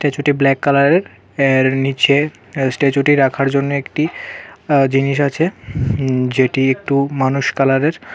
স্ট্যাচুটি black কালারের এর নিচে স্ট্যাচুটি রাখার জন্যে একটি জিনিস আছে উম যেটি একটু মানুষ কালারের.